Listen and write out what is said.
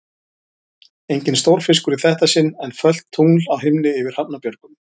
Enginn stórfiskur í þetta sinn, en fölt tungl á himni yfir Hrafnabjörgum.